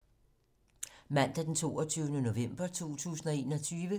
Mandag d. 22. november 2021